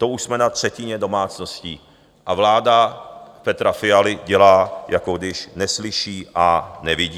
To už jsme na třetině domácností, a vláda Petra Fialy dělá, jako když neslyší a nevidí.